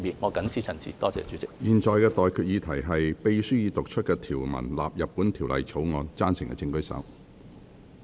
我現在向各位提出的待決議題是：秘書已讀出的條文納入本條例草案。